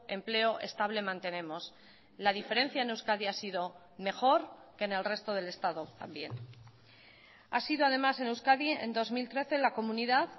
empleo estable mantenemos la diferencia en euskadi ha sido mejor que en el resto del estado también ha sido además en euskadi en dos mil trece la comunidad